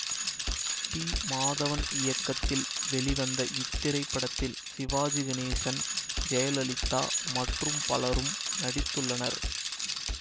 B Madhavan இயக்கத்தில் வெளிவந்த இத்திரைப்படத்தில் சிவாஜி கணேசன் ஜெயலலிதா மற்றும் பலரும் நடித்துள்ளனர்